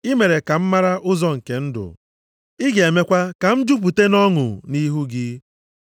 I mere ka m mara ụzọ nke ndụ; ị ga-emekwa ka m jupụta nʼọṅụ nʼihu gị.’ + 2:28 \+xt Abụ 16:8-11\+xt*